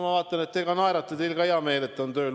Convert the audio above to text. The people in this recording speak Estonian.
Ma vaatan, et te naerate, teil on ka hea meel, et ta on tööl.